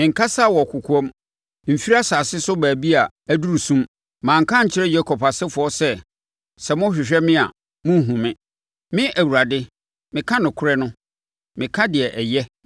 Menkasaa wɔ kɔkoam, mfiri asase so baabi a aduru sum; manka ankyerɛ Yakob asefoɔ sɛ, ‘Sɛ mohwehwɛ me a monnhunu me.’ Me Awurade, meka nokorɛ no; meka deɛ ɛyɛ.